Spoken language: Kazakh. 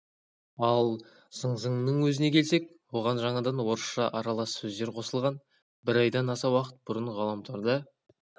ал зың-зыңның өзіне келсек оған жаңадан орысша аралас сөздер қосылған бір айдан аса уақыт бұрын ғаламторда